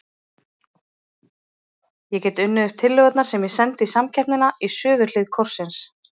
Ég get unnið upp tillögurnar sem ég sendi í samkeppnina í suðurhlið kórsins.